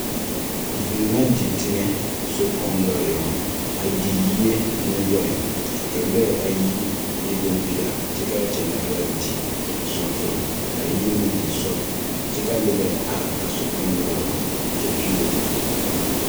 Vūū na di teŋɛ, sokpoŋ noɔre eŋɛ; a di yie ne lɔɛ. Ka lɔɛ ayi e bompeɛl, k Ka lɔɛ ayi e bompeɛl, kyɛ kaa zaa ara a di, sɔb, sɔb. Kaa yiri meŋ di sɔb, kyɛ kaa neba are a sokpɛŋ noɔre yaŋ.